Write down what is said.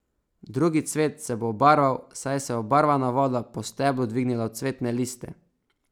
Drugi cvet se bo obarval, saj se je obarvana voda po steblu dvignila v cvetne liste.